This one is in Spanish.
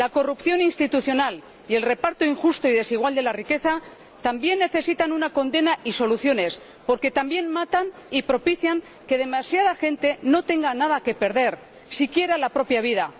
La corrupción institucional y el reparto injusto y desigual de la riqueza también necesitan una condena y soluciones, porque también matan y propician que demasiada gente no tenga nada que perder, siquiera la propia vida.